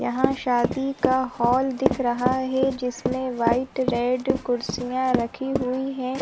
यहाँ शादी का हॉल दिख रहा है जिसमे वाइट रेड कुर्सियाँ रखी हुई है |